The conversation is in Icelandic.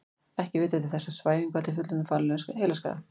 Ekki er vitað til þess að svæfing valdi fullorðnum varanlegum heilaskaða.